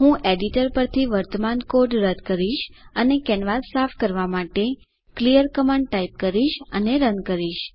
હું એડિટર પરથી વર્તમાન કોડ રદ કરીશ અને કેનવાસ સાફ કરવા માટે ક્લિયર કમાન્ડ ટાઇપ કરીશ અને રન કરીશ